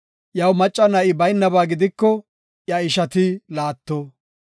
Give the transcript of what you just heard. Iyaw macca na7i baynaba gidiko iya ishati laatto.